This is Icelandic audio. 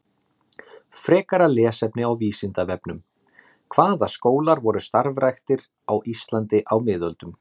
Frekara lesefni á Vísindavefnum: Hvaða skólar voru starfræktir á Íslandi á miðöldum?